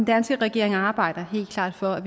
danske regering arbejder helt klart for at